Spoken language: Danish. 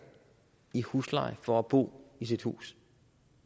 i husleje for at bo i sit hus